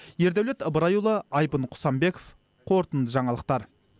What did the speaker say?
ердәулет ыбырайұлы айбын құсанбеков қорытынды жаңалықтар